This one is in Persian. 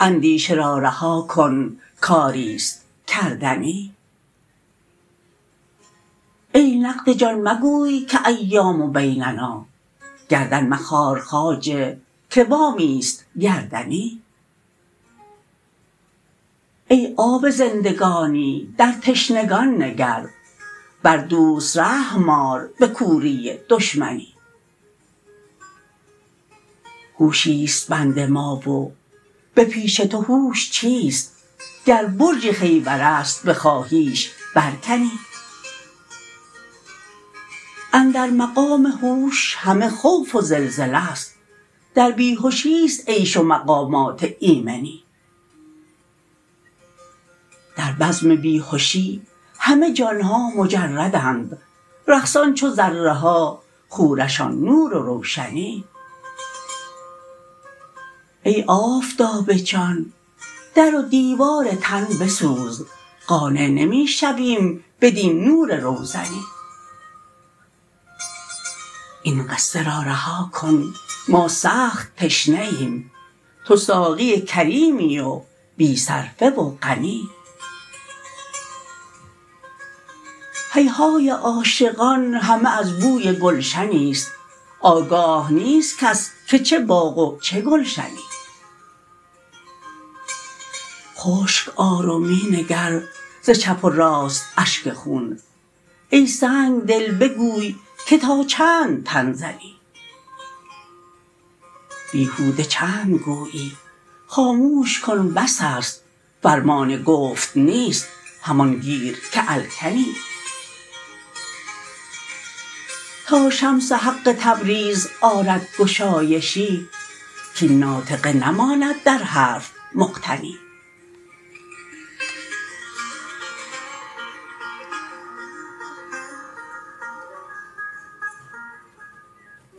اندیشه را رها کن کاری است کردنی ای نقد جان مگوی که ایام بیننا گردن مخار خواجه که وامی است گردنی ای آب زندگانی در تشنگان نگر بر دوست رحم آر به کوری دشمنی هوشی است بند ما و به پیش تو هوش چیست گر برج خیبر است بخواهیش برکنی اندر مقام هوش همه خوف و زلزله ست در بی هشی است عیش و مقامات ایمنی در بزم بی هشی همه جان ها مجردند رقصان چو ذره ها خورشان نور و روشنی ای آفتاب جان در و دیوار تن بسوز قانع نمی شویم بدین نور روزنی این قصه را رها کن ما سخت تشنه ایم تو ساقی کریمی و بی صرفه و غنی هیهای عاشقان همه از بوی گلشنی است آگاه نیست کس که چه باغ و چه گلشنی خشک آر و می نگر ز چپ و راست اشک خون ای سنگ دل بگوی که تا چند تن زنی بیهوده چند گویی خاموش کن بس است فرمان گفت نیست همان گیر که الکنی تا شمس حق تبریز آرد گشایشی کاین ناطقه نماند در حرف معتنی